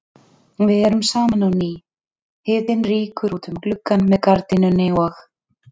Við erum saman á ný, hitinn rýkur út um gluggann með gardínunni og